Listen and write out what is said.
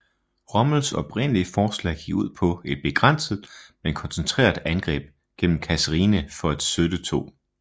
Rommels oprindelige forslag gik ud på et begrænset men koncentreret angreb gennem Kasserine for at søtte 2